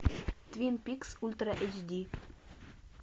твин пикс ультра эйч ди